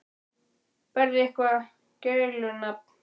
Berðu eitthvað gælunafn?